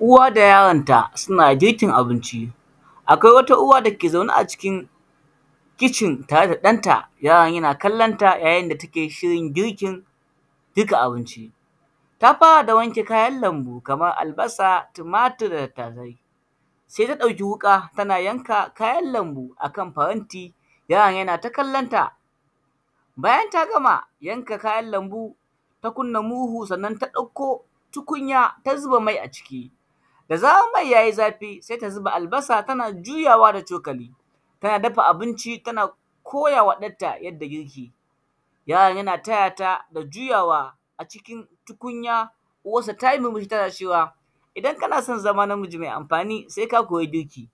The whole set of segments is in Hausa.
Uwa da yaronta, suna girkin abinci, akwai wata uwa da ke zaune a cikin kicin tare da ɗanta. Yaron yana kallan ta, yayin da take shirin girkin; girka abinci. Ta fara da wanke kayan lambu, kamar albasa, tumatir da tattasai, se ta ɗauki wuƙa tana yanka kayan lambu a kan faranti, yaron yana ta kallon ta. Bayan ta gama yanka kayan lambu, ta kunna murhu sannan ta ɗakko tukunya ta zuba mai a ciki, da zarar mai ya yi zafi, sai ta ziba albasa tana juyawa da cokali, tana dafa abinci tana koya wa ɗanta yadda girki yake. Yaron yana taya ta da juyawa a cikin tukunya, uwassa ta yi zugun tana cewa, idan kana son zama namiji me amfani, se ka koyi girki,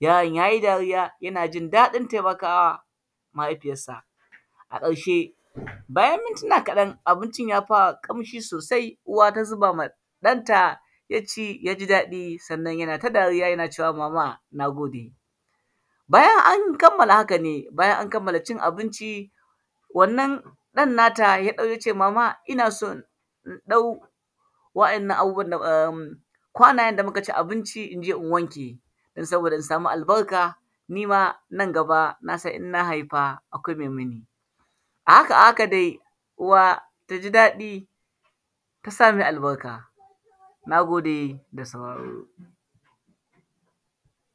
yaron ya yi dariya, yana jin daɗin temaka wa mahaifiyassa. A ƙarshe, bayan mintina kaɗan, abincin ya fara ƙamshi sosai, uwa ta zuba ma ɗanta, ya ci, ya ji daɗi, sannan yana ta dariya yana cewa mama, na gode. Bayan an kammala haka ne, bayan an kammala cin abinci, wannan ɗan nata ya zo ya ce mama, ina so in ɗau wa’yannan abubuwan da am, kwanayen da muka ci abinci in je in wanke, dan saboda in samu albarka, na san nan gaba, na san in na haifa, akwai mai mini. A haka, a haka dai, uwa ta ji daɗi, ta sa mai albarka, na gode da sauraro.